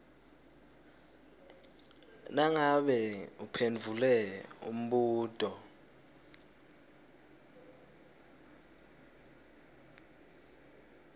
nangabe uphendvule umbuto